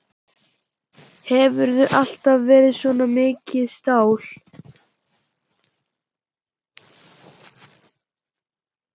Hefurðu alltaf verið svona mikið stál?